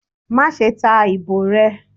ma sé ta ibò re!